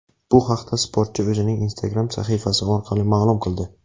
Bu haqda sportchi o‘zining Instagram sahifasi orqali ma’lum qildi.